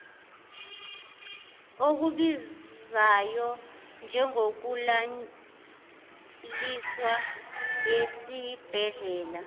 okubizayo njengokulaliswa esibhedlela